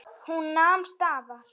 Hún nam staðar.